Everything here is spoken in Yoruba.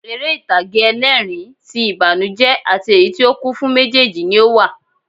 Eré ìtàgé ẹlẹ́ẹ̀rín, ti ìbànújẹ́ àti èyí tí ó kún fún méjèjì ni ó wà